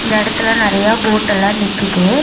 இந்த எடத்துல நெறையா போட்டெல்லா நிக்கிது.